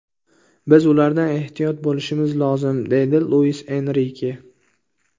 Biz ulardan ehtiyot bo‘lishimiz lozim”, – deydi Luis Enrike.